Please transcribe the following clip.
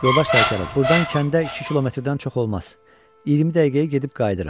Yoldaş Sərkarov, burdan kəndə iki kilometrdən çox olmaz, 20 dəqiqəyə gedib qayıdırıq.